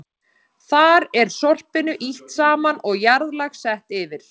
Þar er sorpinu ýtt saman og jarðlag sett yfir.